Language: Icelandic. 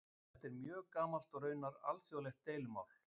Þetta er mjög gamalt og raunar alþjóðlegt deilumál.